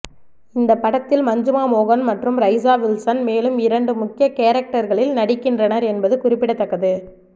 இந்த படத்தில் மஞ்சிமா மோகன் மற்றும் ரைசா வில்சன் மேலும் இரண்டு முக்கிய கேரக்டர்களில் நடிக்கின்றனர் என்பது குறிப்பிடத்தக்கது